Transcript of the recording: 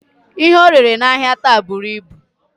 Ihe orere n'ahia taa buru ibu